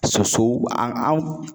Sosow an